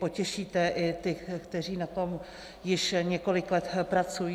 Potěšíte i ty, kteří na tom již několik let pracují.